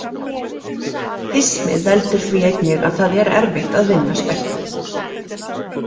Hismið veldur því einnig að það er erfitt að vinna speltið.